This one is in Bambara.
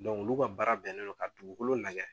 olu ka baara bɛnnen don ka dugukolo lagɛ